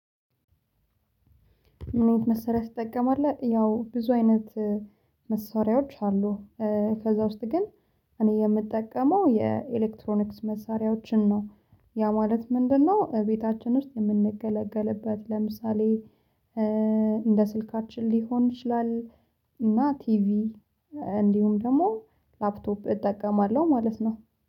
ምን አይነት መሳሪያ ትጠቀማለህ? ያው ብዙ አይነት መሳሪያዎች አሉ። ከዛ ውስጥ ግን እኔ የምጠቀመው የኤሌክትሮኒክስ መሳሪያዎችን ነው ያ ማለት ምንድነው ቤታችን ውስጥ የምንገለገልበት ለምሳሌ እንደ ስልካችን ሊሆን ይችላል፤ እና ቲቪ እንዲሁም ደግሞ ላፕቶፕ እጠቀማለሁ ማለት ነው።